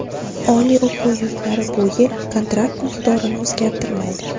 Oliy o‘quv yurtlari bu yili kontrakt miqdorini o‘zgartirmaydi.